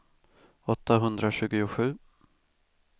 åttahundratjugosju